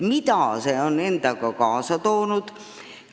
Mida on see endaga kaasa toonud?